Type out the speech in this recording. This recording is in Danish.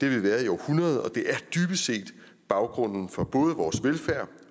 vi været i århundreder og det er dybest set baggrunden for både vores velfærd